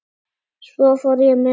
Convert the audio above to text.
Svo fór ég með